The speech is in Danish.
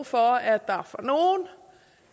for at